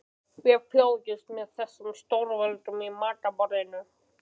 Við fylgjumst með þessum stórveldum við matarborðið.